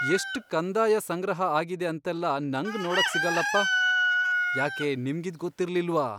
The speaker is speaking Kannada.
ಎಷ್ಟ್ ಕಂದಾಯ ಸಂಗ್ರಹ ಆಗಿದೆ ಅಂತೆಲ್ಲ ನಂಗ್ ನೋಡಕ್ ಸಿಗಲ್ಲಪ್ಪ, ಯಾಕೆ ನಿಮ್ಗಿದ್ ಗೊತ್ತಿರ್ಲಿಲ್ವಾ?!